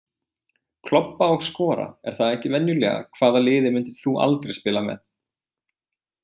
Klobba og skora, er það ekki venjulega Hvaða liði myndir þú aldrei spila með?